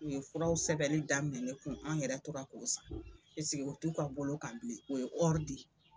U ye furaw sɛbɛnni daminɛ ne kun an yɛrɛ tora ko san o t'u ka bolo kan bilen u ye di.